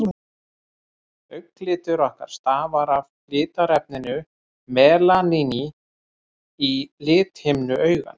augnlitur okkar stafar af litarefninu melaníni í lithimnu augans